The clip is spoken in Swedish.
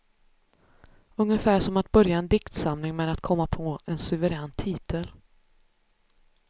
Ungefär som att börja en diktsamling med att komma på en suverän titel.